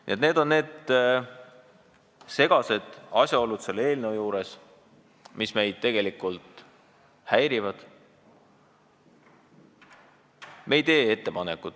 Nii et sellised on need segased asjaolud selle eelnõu juures, mis meid häirivad.